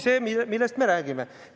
See ongi see, millest me räägime.